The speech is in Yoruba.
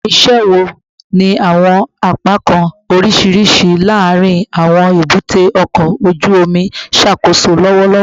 Awọn iṣẹ wo ni awọn apakan oriṣiriṣi laarin awọn ebute oko oju omi n ṣakoso lọwọlọwọ?